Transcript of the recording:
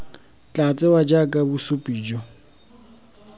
tla tsewa jaaka bosupi jo